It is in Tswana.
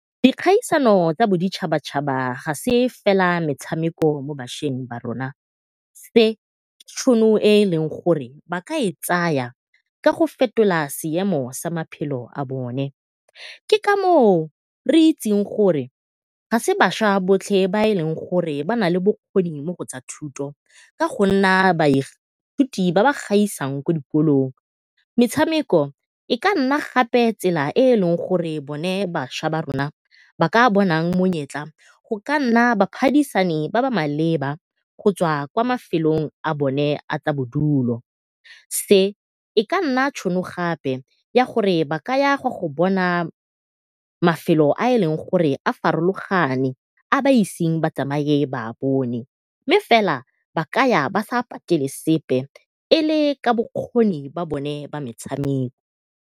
Dikgaisano tsa boditšhaba-tšhaba ga se fela metshameko mo bašweng ba rona. Se ke tšhono e e leng gore ba ka e tsaya ka go fetola seemo sa maphelo a bone, ke ka moo re itseng gore ga e se bašwa botlhe ba e leng gore ba nale bokgoni mo go tsa thuto ka go nna baithuti ba ba gaisang ko dikolong. Metshameko e ka nna gape tsela e e leng gore bone bašwa ba rona ba ka bonang monyetla go ka nna baphadisani ba ba maleba go tswa kwa mafelong a bone a tsa bodulo. Se e ka nna tšhono gape ya gore ba ka yang go go bona mafelo a e leng gore a farologane a iseng ba tsamaye ba a bone, mme fela ba ka ya ba sa patele sepe e le ka bokgoni bone jwa metshameko.